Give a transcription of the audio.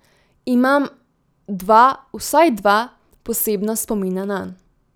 Imam dva vsaj dva posebna spomina nanj.